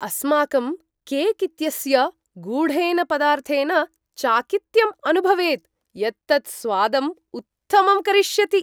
अस्माकं केक् इत्यस्य गूढेन पदार्थेन चाकित्यं अनुभवेत्, यत् तत् स्वादम् उत्तमं करिष्यति।